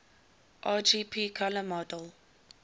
rgb color model